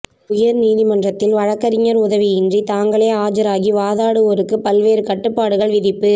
உயர்நீதிமன்றத்தில் வழக்கறிஞர் உதவியின்றி தாங்களே ஆஜராகி வாதாடுவோருக்கு பல்வேறு கட்டுப்பாடுகள் விதிப்பு